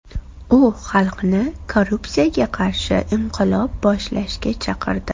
U xalqni korrupsiyaga qarshi inqilob boshlashga chaqirdi.